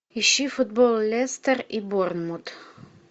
ищи футбол лестер и борнмут